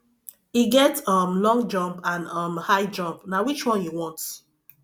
e get um long jump and um high jump na which one you want